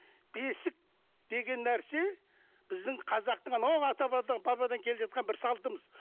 бесік деген нәрсе біздің қазақтың анау ата бабадан келе жатқан бір салтымыз